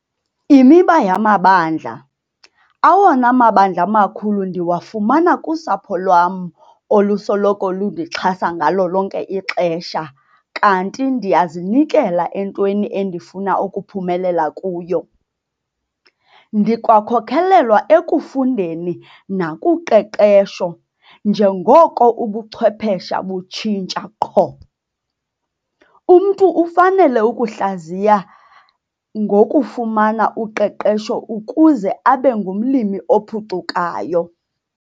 Imiba yamandla- Awona mandla makhulu ndiwafumana kusapho lwam olusoloko lundixhasa ngalo lonke ixesha kanti ndiyazinikela entweni endifuna ukuphumelela kuyo. Ndikwakholelwa ekufundeni nakuqeqesho, njengoko ubuchwepheshe butshintsha qho. Umntu ufanele ukuzihlaziya ngokufumana uqeqesho ukuze abe ngumlimi ophucukayo.